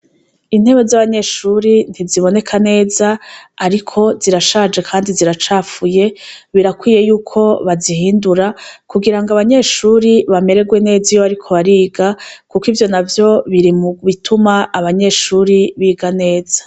Intebe zabanyeshure ntiziboneka neza ariko zirashaje kandi ziracafuye birakwiye yuko bazihindura kugirango abanyeshure bamererwe neza iyo bariko bariga kuko ivyonavyo biri mubituma abanyeshure biga neza